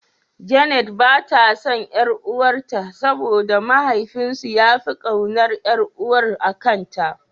Janet bata son ƴar'uwar ta saboda mahaifin su yafi ƙaunar ƴar'uwar akanta.